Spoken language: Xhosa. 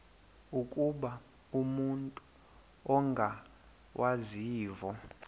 ukuba umut ongawazivo